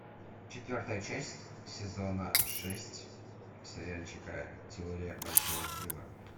четвертая часть сезона шесть сериальчика теория большого взрыва